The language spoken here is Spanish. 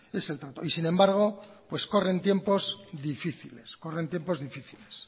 es el trato y sin embargo pues corren tiempo difíciles corren tiempos difíciles